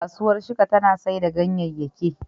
Kasuwar Shika tana sayar da ganyeyake.